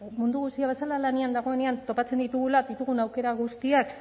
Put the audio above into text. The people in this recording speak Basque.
mundu guztia bezala lanean dagoenean topatzen ditugula ditugun aukera guztiak